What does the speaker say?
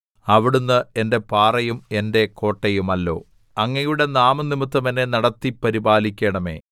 അവിടുന്ന് എന്റെ പാറയും എന്റെ കോട്ടയുമല്ലോ അങ്ങയുടെ നാമംനിമിത്തം എന്നെ നടത്തി പരിപാലിക്കണമേ